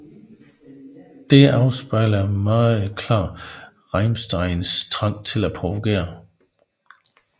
Dette afspejler meget klart Rammsteins trang til at provokere